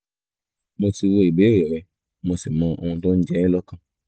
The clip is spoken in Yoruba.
mo ti wo ìbéèrè rẹ mo sì mọ ohun tó ń jẹ ẹ́ lọ́kàn